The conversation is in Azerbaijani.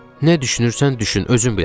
Nə düşünürsən, düşün, özün bilərsən.